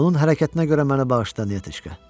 Onun hərəkətinə görə məni bağışla, Nəteçka!